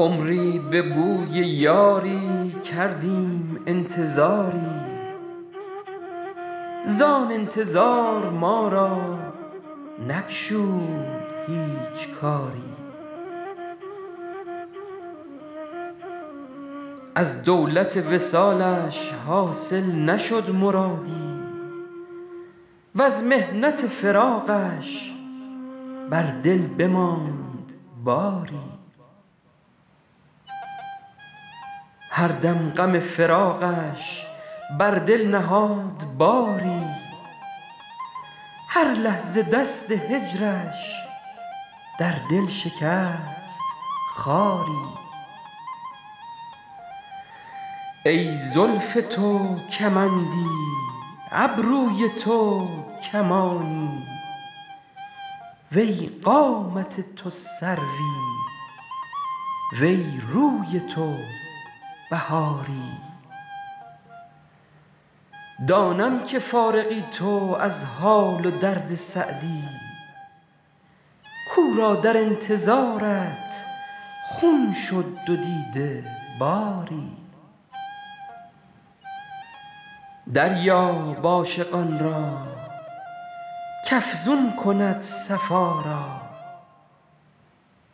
عمری به بوی یاری کردیم انتظاری زآن انتظار ما را نگشود هیچ کاری از دولت وصالش حاصل نشد مرادی وز محنت فراقش بر دل بماند باری هر دم غم فراقش بر دل نهاد باری هر لحظه دست هجرش در دل شکست خاری ای زلف تو کمندی ابروی تو کمانی وی قامت تو سروی وی روی تو بهاری دانم که فارغی تو از حال و درد سعدی کاو را در انتظارت خون شد دو دیده باری دریاب عاشقان را کافزون کند صفا را